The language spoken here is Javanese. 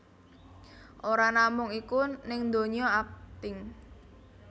Ora namung iku ning dunya akting